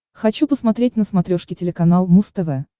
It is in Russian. хочу посмотреть на смотрешке телеканал муз тв